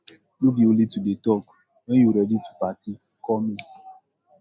no be only to dey talk wen you ready to party call me